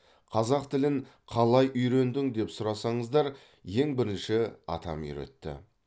қазақ тілін қалай үйрендің деп сұрасаңыздар ең бірінші атам үйретті